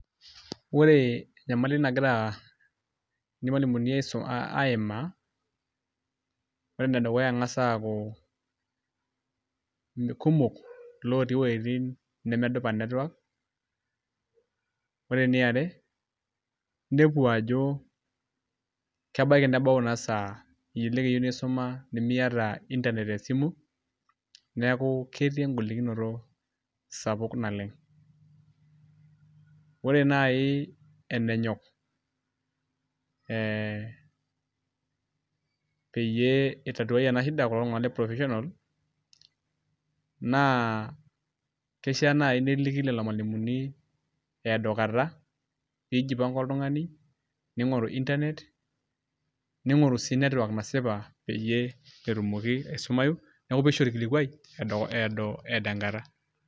Ore enyamali nagira irmalimuni aimaa ore enedukuya eng; as aaku kumok ilootii iwueitin nemedupa network ore eniare inepu ajo kebaiki nebau ina saa elelk eyieu nisuma nemiata internet te esimu neeku ketii engolikinoto sapuk naleng'. Ore naai enenyok ee peyie itatuai ena shida kulo tung'anak le provisional naa kishiaa naai neliki lelo malimuni eedo kata pee ijipanga oltung'ani ning'oru internet ning'oru sii network nasipa peyie etumoki aisumayu neeku pee isho orkilikuai eeedo enkata.